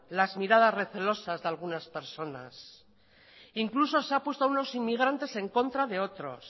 las miradas recelosas de algunas personas incluso se ha puesto a unos inmigrantes en contra de otros